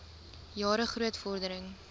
jare groot vordering